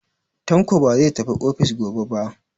Tanko ba zai tafi ofis gobe ba.